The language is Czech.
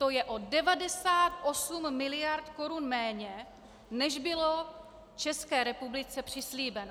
To je o 98 mld. korun méně, než bylo České republice přislíbeno.